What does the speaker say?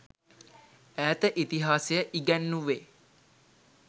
ඈත ඉතිහාසය ඉගැන්නුවෙ.